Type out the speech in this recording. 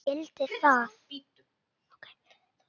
Hún skildi það.